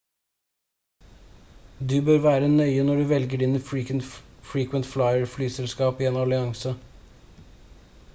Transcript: du bør være nøye når du velger dine frequent flyer- flyselskap i en allianse